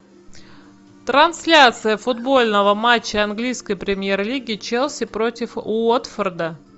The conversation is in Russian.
трансляция футбольного матча английской премьер лиги челси против уотфорда